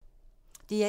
DR1